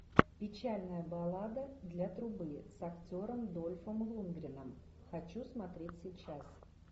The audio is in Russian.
печальная баллада для трубы с актером дольфом лундгреном хочу смотреть сейчас